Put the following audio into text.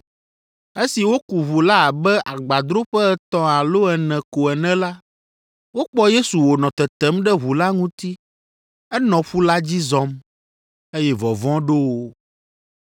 Esi woku ʋu la abe agbadroƒe etɔ̃ alo ene ko ene la, wokpɔ Yesu wònɔ tetem ɖe ʋu la ŋuti, enɔ ƒu la dzi zɔm, eye vɔvɔ̃ ɖo wo,